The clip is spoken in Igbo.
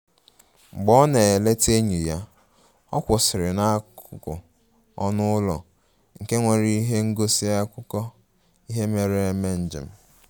Mgbe ọ na-eleta enyi ya, ọ kwụsịrị n'akụkụ ọnụ ụlọ nke nwere ihe ngosi akụkọ ihe mere eme njem